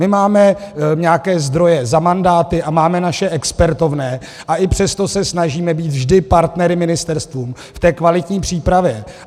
My máme nějaké zdroje za mandáty a máme naše expertovné, a i přesto se snažíme být vždy partnery ministerstvům v té kvalitní přípravě.